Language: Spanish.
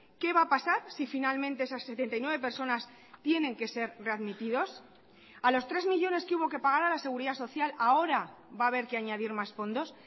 qué va a pasar si finalmente esas setenta y nueve personas tienen que ser readmitidos a los tres millónes que hubo que pagar a la seguridad social ahora va a haber que añadir más fondos